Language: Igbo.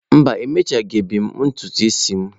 Mba, emechabeghị m ntutu isi m.